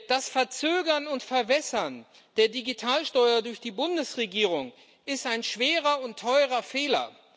Das Verzögern und Verwässern der Digitalsteuer durch die Bundesregierung ist ein schwerer und teurer Fehler.